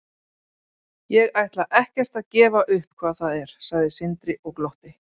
Ég ætla ekkert að gefa upp hvað það er, sagði Sindri og glotti.